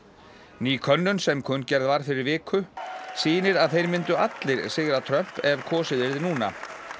ný könnun sem kunngerð var fyrir viku sýnir að þeir myndu allir sigra Trump ef kosið yrði núna